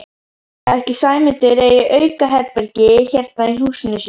Ætli Sæmundur eigi aukaherbergi hérna í húsinu sínu?